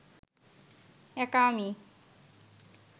একা আমি